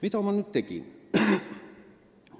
Mida ma nüüd tegin?